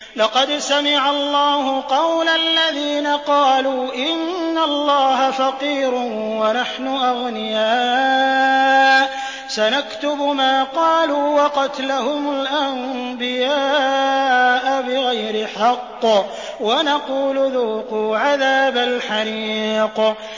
لَّقَدْ سَمِعَ اللَّهُ قَوْلَ الَّذِينَ قَالُوا إِنَّ اللَّهَ فَقِيرٌ وَنَحْنُ أَغْنِيَاءُ ۘ سَنَكْتُبُ مَا قَالُوا وَقَتْلَهُمُ الْأَنبِيَاءَ بِغَيْرِ حَقٍّ وَنَقُولُ ذُوقُوا عَذَابَ الْحَرِيقِ